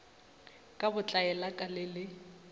ka botlaela ka le le